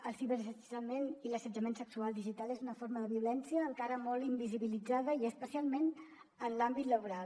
el ciberassetjament i l’assetjament sexual digital és una forma de violència encara molt invisibilitzada i especialment en l’àmbit laboral